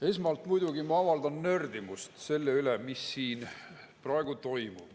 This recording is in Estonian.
Esmalt muidugi ma avaldan nördimust selle üle, mis siin praegu toimub.